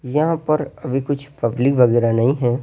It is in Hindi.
यहाँ पर अभी कुछ पब्लिक वगैरह नहीं हैं।